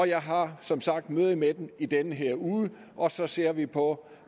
jeg har som sagt møde med dem i den her uge og så ser vi på